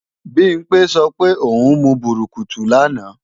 Bimpé sọ pé ò ń mu bùrùkùtù lánàá